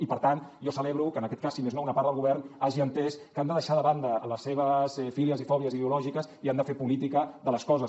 i per tant jo celebro que en aquest cas si més no una part del govern hagi entès que han de deixar de banda les seves fílies i fòbies ideològiques i han de fer política de les coses